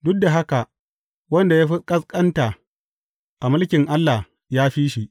Duk da haka wanda ya fi ƙasƙanta a Mulkin Allah ya fi shi.